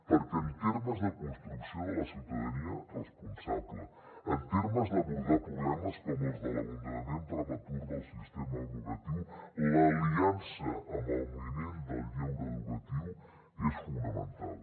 perquè en termes de construcció de la ciutadania responsable en termes d’abordar problemes com els de l’abandonament prematur del sistema educatiu l’aliança amb el moviment del lleure educatiu és fonamental